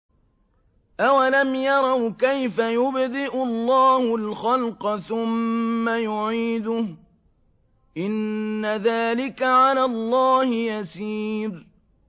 أَوَلَمْ يَرَوْا كَيْفَ يُبْدِئُ اللَّهُ الْخَلْقَ ثُمَّ يُعِيدُهُ ۚ إِنَّ ذَٰلِكَ عَلَى اللَّهِ يَسِيرٌ